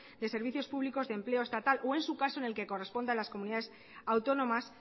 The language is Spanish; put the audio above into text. de servicios públicos de empleo estatal o en su caso en el que corresponda a las comunidades autónomas